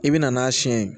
I bi na n'a siyɛn ye